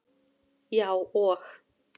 Já, og